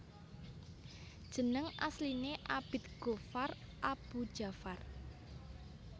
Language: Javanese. Jeneng asline Abid Ghoffar Aboe Djafar